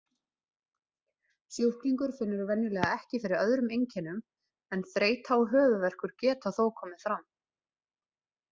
Sjúklingur finnur venjulega ekki fyrir öðrum einkennum en þreyta og höfuðverkur geta þó komið fram.